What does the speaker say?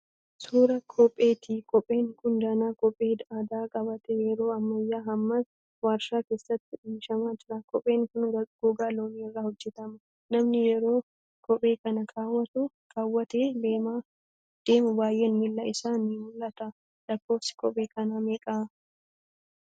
Suuraa kopheeti. Kopheen kun danaa kophee aadaa qabaatee yeroo ammayyaa hammas warshaa keessatti oomishamaa jira. Kopheen kun gogaa loonii irraa hojjetama. Namni yeroo kophee kana kaawwatee deemuu baay'een miila isaa ni mul'ata. lakkoofsi kophee kanaa meeqa?